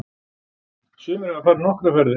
Sumir hafa farið nokkrar ferðir.